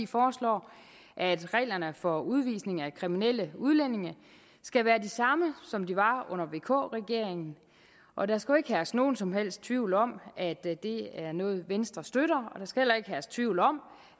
foreslår at reglerne for udvisning af kriminelle udlændinge skal være de samme som de var under vk regeringen og der skal ikke herske nogen som helst tvivl om at det er noget som venstre støtter og der skal heller ikke herske tvivl om